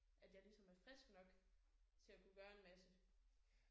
At jeg ligesom er frisk nok til at kunne gøre en masse